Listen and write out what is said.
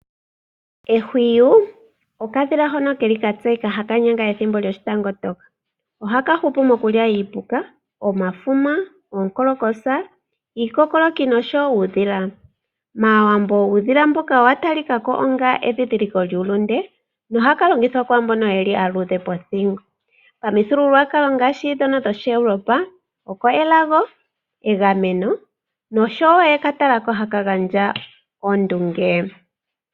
Ehwiyu okadhila hono keli ka tseyika haka nyanga ethimbo lyoshitangotoka. Ohaka hupu mokulya iipuka, omafuma, oonkonkolosa, iikokoloki nosho woo uudhila. MAawambo uudhila mboka owatalika ko onga endhindhiliko lyuulunde nohaka longithwa kwaambono yeli aaluudhe pothingo. Pamithigululwakalo ngaashi ndhono dhoshiEurope oko elago, egameno nosho woo oye ka tala ko haka gandja ondunge.